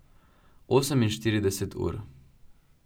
Oseminštirideset ur.